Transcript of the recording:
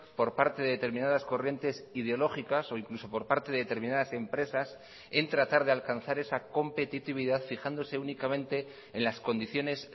por parte de determinadas corrientes ideológicas o incluso por parte de determinadas empresas en tratar de alcanzar esa competitividad fijándose únicamente en las condiciones